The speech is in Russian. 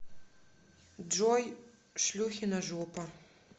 джой шлюхина жопа